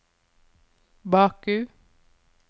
Baku